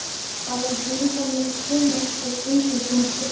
Bara þessi líkamlegi trúnaður sem engum kom við.